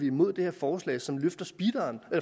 imod det her forslag som løfter